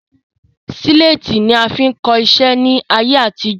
Síléétì ni a fi ń kọ iṣẹ́ ni ayé àtijọ́